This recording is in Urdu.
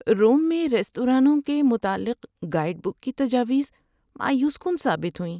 روم میں ریستورانوں کے متعلق گائیڈ بک کی تجاویز مایوس کن ثابت ہوئیں۔